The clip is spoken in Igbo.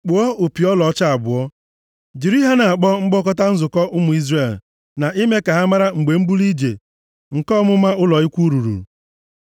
“Kpụọ opi ọlaọcha abụọ, jiri ha na-akpọ mkpọkọta nzukọ ụmụ Izrel na ime ka ha mara mgbe mbuli ije nke ọmụma ụlọ ikwu ruru.